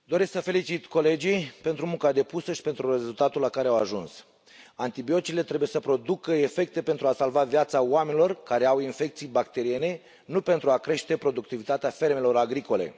Domnule președinte, doresc să felicit colegii pentru munca depusă și pentru rezultatul la care au ajuns. Antibioticele trebuie să producă efecte pentru a salva viața oamenilor care au infecții bacteriene, nu pentru a crește productivitatea fermelor agricole.